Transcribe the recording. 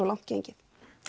langt gengið